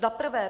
Za prvé.